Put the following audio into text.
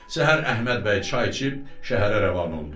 Səhər Əhməd bəy çay içib şəhərə rəvan oldu.